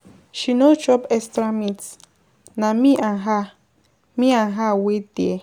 She no chop extra meat, na me and her wait for, wait there.